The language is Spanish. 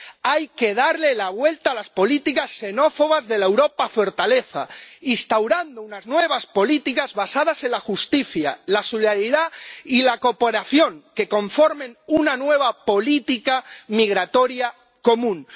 Hay que darles la vuelta a las políticas xenófobas de la Europa fortaleza, instaurando nuevas políticas basadas en la justicia, la solidaridad y la cooperación, que conformen una nueva política migratoria común